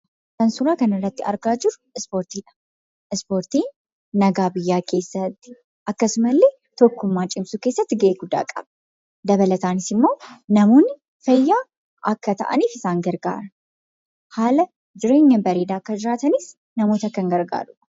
Kan suuraaa kanarratti argaa jirru Ispoortiidha. Ispoortiin nagaa biyyaa keessatti akkasumallee tokkummaa cimsuu keessatti gahee guddaa qaba. Dabalataanis immoo namoonni fayyaa akka ta'aniif isaan garagaara. Haala jireenya bareedaa akka jiraatanis namoota kan gargaarudha.